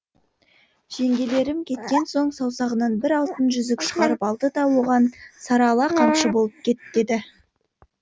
жеңгелерім кеткен соң саусағынан бір алтын жүзік шығарып алды да оған сарала қамшы болып кет деді